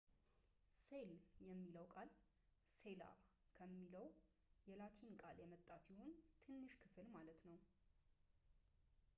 ሴል የሚለው ቃል ሴላ ከሆነው የላቲን ቃል የመጣ ሲሆን ትንሽ ክፍል ማለት ነው